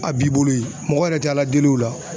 A b'i bolo ye mɔgɔ yɛrɛ tɛ ALA del'o la.